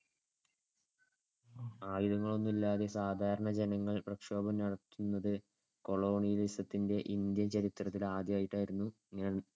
ആയുധങ്ങളൊന്നുമില്ലാതെ സാധാരണ ജനങ്ങൾ പ്രക്ഷോഭം നടത്തുന്നത് colonialism ത്തിന്‍ടെ ഇന്ത്യൻ ചരിത്രത്തിൽ ആദ്യായിട്ടായിരുന്നു.